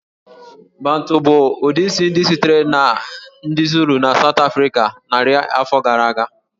Bantu bụ ụdị isi ndị sitere na ndị Zulu na South Africa narị afọ gara aga